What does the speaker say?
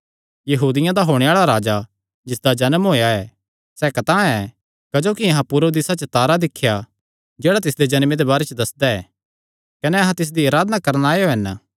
कि यहूदियां दा होणे आल़ा राजा जिसदा जन्म होएया सैह़ कतांह ऐ क्जोकि अहां पूरब दिसा च तारा दिख्या जेह्ड़ा तिसदे जन्मे दे बारे च दस्सदा ऐ कने अहां तिसदी अराधना करणा आएयो हन